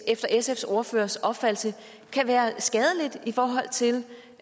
efter sfs ordførers opfattelse kan være skadeligt i forhold til